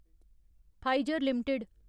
Pfizer limited